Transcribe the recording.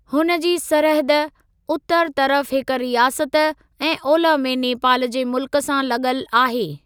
हुन जी सरहद उतरु तर्फ़ु हिक रियासत ऐं ओलह में नेपाल जे मुल्कु सां लॻलु आहे।